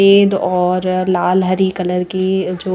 सफेद और लाल हरी कलर की जो--